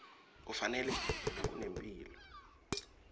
kufanele kudla lokunempilo